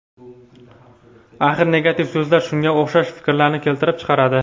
Axir negativ so‘zlar shunga o‘xshash fikrlarni keltirib chiqaradi.